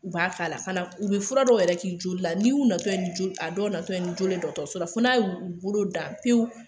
U b'a k'a la fana,u bɛ fura dɔw yɛrɛ k'i joli la, n'i y'u natɔ ye, a dɔw natɔ ni joli ye dɔgɔtɔrɔso la n'a y'u bolo dan pewu!